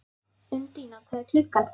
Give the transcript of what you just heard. Undína, hvað er klukkan?